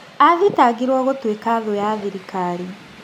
"Athitangirwo gũtuĩka thũ ya thĩrikari.